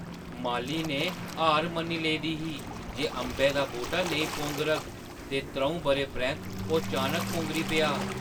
माली ने हार मन्नी लेदी ही जे अंबै दा बूह्‌टा नेईं पौंगरग, ते त्र'ऊं बʼरें परैंत्त ओह् चानक पौंगरी पेआ।